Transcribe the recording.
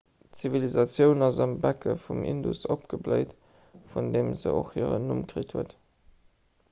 d'zivilisatioun ass am becke vum indus opgebléit vun deem se och hiren numm kritt huet